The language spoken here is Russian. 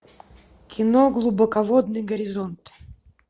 кино глубоководный горизонт